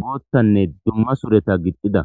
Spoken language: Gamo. boottanne dumma sureta gixxida